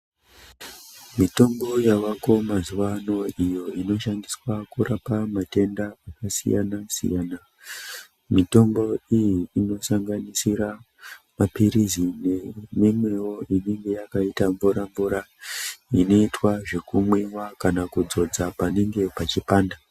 Mitombo yavako mazuvano iyo inoshandiswa kurapa matenda akasiyana siyana, mitombo iyi inosanganisira mapirizi neimwewo inenge yakaite mvura mvura inoitwa zvekumwiwa kana kudzodza panenge pachipanda.